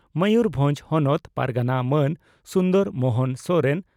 ᱢᱚᱭᱩᱨᱵᱷᱚᱸᱡᱽ ᱦᱚᱱᱚᱛ ᱯᱟᱨᱜᱟᱱᱟ ᱢᱟᱱ ᱥᱩᱱᱫᱚᱨ ᱢᱚᱦᱚᱱ ᱥᱚᱨᱮᱱ